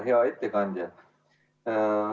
Hea ettekandja!